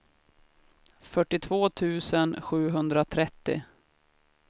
fyrtiotvå tusen sjuhundratrettio